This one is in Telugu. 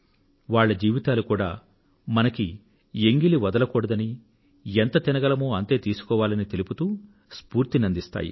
వాళ్ల జీవితాలు కూడా మనకు ఎంగిలి వదలకూడదనీ ఎంత తినగలమో అంతే తీసుకోవాలని తెలుపుతూ స్ఫూర్తిని అందిస్తాయి